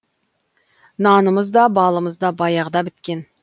нанымыз да балымыз да баяғыда біткен